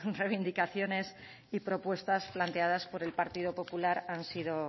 reivindicaciones y propuestas planteadas por el partido popular han sido